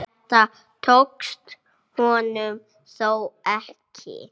Þetta tókst honum þó ekki.